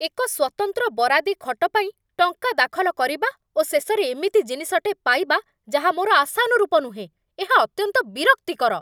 ଏକ ସ୍ଵତନ୍ତ୍ର ବରାଦୀ ଖଟ ପାଇଁ ଟଙ୍କା ଦାଖଲ କରିବା ଓ ଶେଷରେ ଏମିତି ଜିନିଷଟେ ପାଇବା, ଯାହା ମୋର ଆଶାନୁରୂପ ନୁହେଁ, ଏହା ଅତ୍ୟନ୍ତ ବିରକ୍ତିକର।